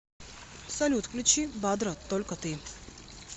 салют включи дабро только ты